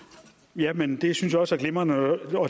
ja men det synes jeg også er glimrende